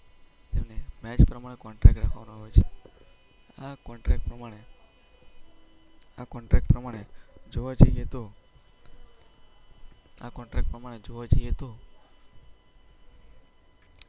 તેને મેચ પ્રમાણે કોન્ટ્રાક્ટ પર રાખવામાં આવે છે. આ કોન્ટ્રાક્ટ પ્રમાણે, આ કોન્ટ્રાક્ટ પ્રમાણે જોવા જઈએ તો આ કોન્ટ્રાક્ટ પ્રમાણે જોવા જઈએ તો